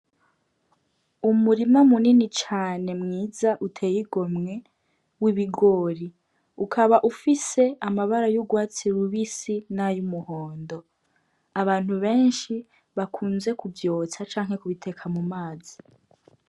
Umurima munini cane mwiza uteye igomwe w'ibigori ukaba ufise amabara y'urwatsi lubisi n'ayo umuhondo abantu benshi bakunze kuvyotsa canke kubiteka mu mazi.